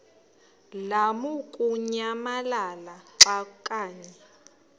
lamukunyamalala xa kanye